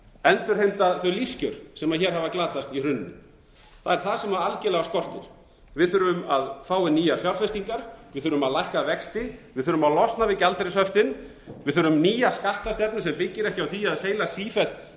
endurheimta þau lífskjör sem hér hafa glatast í hruninu það er það sem algjörlega skortir við þurfum að fá inn nýjar fjárfestingar við þurfum að lækka vexti við þurfum að losna við gjaldeyrishöftin við þurfum nýja skattastefnu sem byggir ekki á því að seilast sífellt